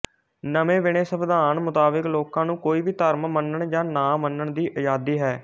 ਨਵੇਂ ਬਣੇ ਸੰਵਿਧਾਨ ਮੁਤਾਬਿਕ ਲੋਕਾਂ ਨੂੰ ਕੋਈ ਵੀ ਧਰਮ ਮੰਨਣ ਜਾਂ ਨਾਮੰਨਣ ਦੀ ਆਜ਼ਾਦੀ ਹੈ